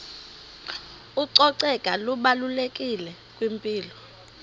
ucoceko lubalulekile kwimpilo